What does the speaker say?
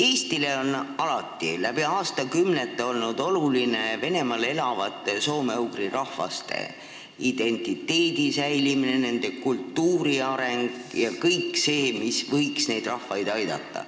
Eestile on alati, läbi aastakümnete olnud oluline Venemaal elavate soome-ugri rahvaste identiteedi säilimine, nende kultuuri areng ja kõik see, mis võiks neid rahvaid aidata.